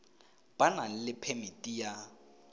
ba nang le phemiti ya